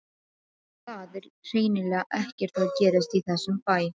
En það er hreinlega ekkert að gerast í þessum bæ.